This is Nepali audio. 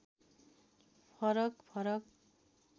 फरक फरक